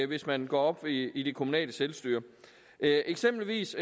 hvis man går op i i det kommunale selvstyre eksempelvis